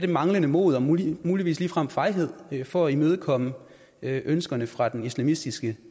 manglende mod og muligvis muligvis ligefrem fejhed for at imødekomme ønskerne fra den islamistiske